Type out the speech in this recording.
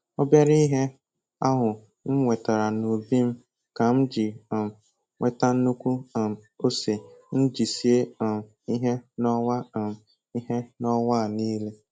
Obere ihe ahụ m wetara n'ubi m ka m ji um nweta nnukwu um ose m ji sie um ihe n'ọnwa um ihe n'ọnwa a niile